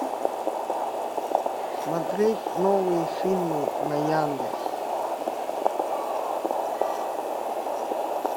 смотреть новые фильмы на яндексе